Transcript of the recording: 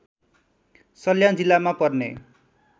सल्यान जिल्लामा पर्ने